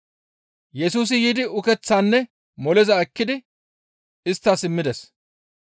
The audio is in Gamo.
Yesusi yiidi ukeththaanne moleza ekkidi isttas immides.